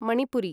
Manipuri